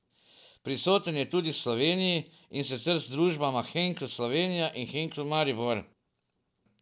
Prisoten je tudi v Sloveniji, in sicer z družbama Henkel Slovenija in Henkel Maribor.